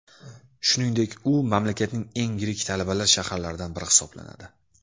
Shuningdek, u mamlakatning eng yirik talabalar shaharlaridan biri hisoblanadi.